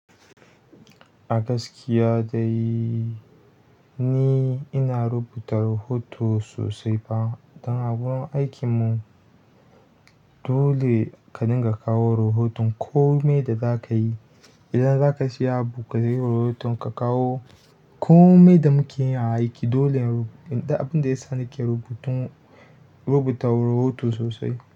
A gaskiya dai ni ina rubuta rahoto sosai ba don a gurun aikinmu. Dole ka dinga kawo rahoton kome da za ka yi, idan za ka siya abu kayi rahoton ka kawo kome da muke yin aiki. Dole abin da yasa nake rubutun rubuta rahoto sosai.